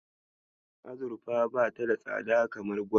Azurfa bata da tsada kamar gwal.